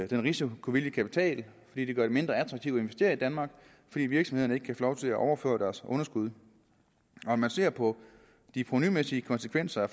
den risikovillige kapital fordi det gør det mindre attraktivt at investere i danmark fordi virksomhederne ikke kan få lov til at overføre deres underskud når man ser på de provenumæssige konsekvenser af